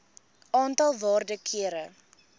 aantal waarde kere